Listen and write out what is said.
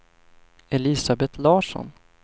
Elisabeth Larsson